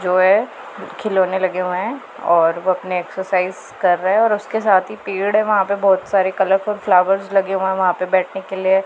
जो है खिलौने लगे हुए हैं और वो अपने एक्सरसाइज कर रहे हैं और उसके साथ ही पेड़ है वहां पे बहुत सारे कलरफुल फ्लॉवर्स लगे हुए वहां पे बैठने के लिए।